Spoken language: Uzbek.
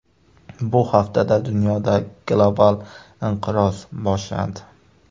Bu haftada dunyoda global inqiroz boshlandi.